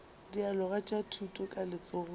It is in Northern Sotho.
dialoga tša thuto ka letsogong